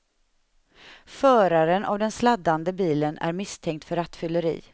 Föraren av den sladdande bilen är misstänkt för rattfylleri.